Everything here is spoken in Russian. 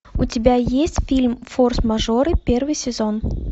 у тебя есть фильм форс мажоры первый сезон